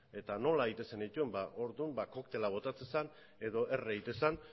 eta nola egiten zenituen ba orduan koktela botatzen zen edo erre egiten zen